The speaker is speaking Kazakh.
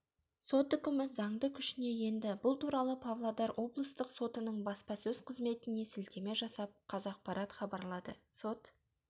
сот үкімі заңды күшіне енді бұл туралы павлодароблыстық сотының баспасөз қызметіне сілтеме жасап қазақпарат хабарлады сот